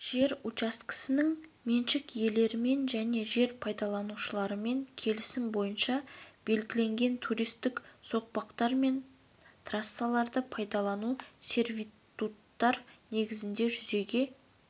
жер учаскелерінің меншік иелерімен және жер пайдаланушылармен келісім бойынша белгіленген туристік соқпақтар мен трассаларды пайдалану сервитуттар негізінде жүзеге